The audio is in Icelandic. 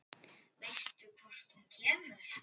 Veistu hvort hún kemur?